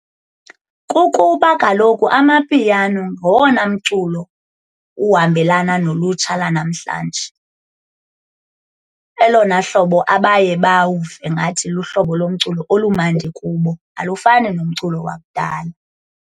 Kukuba kaloku Amapiano ngowona mculo uhambelana nolutsha lanamhlanje. Elona hlobo abaye bawuve ngathi luhlobo lomculo olumandi kubo, alufani nomculo wakudala.